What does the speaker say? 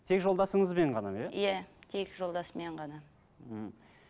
тек жолдасыңызбен ғана иә иә тек жолдасыммен ғана мхм